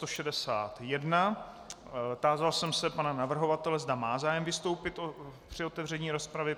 Tázal jsem se pana navrhovatele, zda má zájem vystoupit při otevření rozpravy.